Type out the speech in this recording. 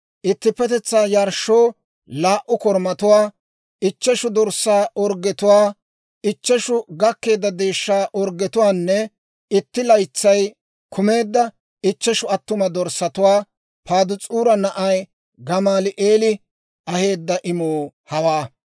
ittippetetsaa yarshshoo laa"u korumatuwaa, ichcheshu dorssaa orggetuwaa, ichcheshu gakkeedda deeshshaa orggetuwaanne itti laytsay kumeedda ichcheshu attuma dorssatuwaa. Padaas'uura na'ay Gamaali'eeli aheedda imuu hawaa.